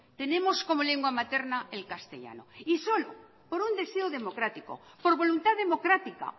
tenemos como lengua materna el castellano y solo por un deseo democrático por voluntad democrática